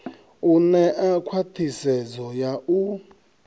u ṋea khwathisedzo ya u